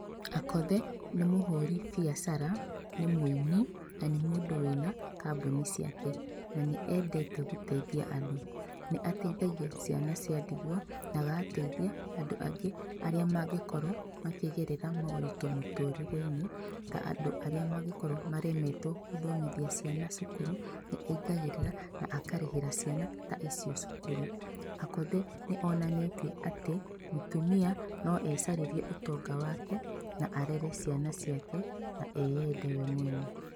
Akothe, nĩ mũhũri biacara, nĩ mũini, na nĩ mũndũ wĩna kambuni ciake, na nĩendete gũteithia andũ. Nĩ ateithagia ciana cia ndigwa, na agateithia andũ angĩ arĩa mangĩkorwo makĩgerera moritũ mũtũrĩre-inĩ ka andũ arĩa mangĩkorwo maremetwo gũthomithia ciana cukuru, nĩaingagĩrĩra na akarĩhĩra ciana icio cukuru. Akothe, nĩonanĩtie atĩ mũtumia noecarĩrie ũtonga wake na arere ciana ciake na eyende we mwene.